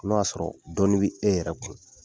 I b'a sɔrɔ dɔɔnin bɛ e yɛrɛ kun